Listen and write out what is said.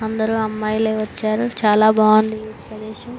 అందరూ అమ్మాయిలె వచ్చారు. చాలా బాగుంది ఈ ప్రదేశం.